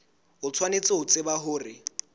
o tshwanetse ho tseba hore